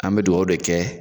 An bɛ dugawu de kɛ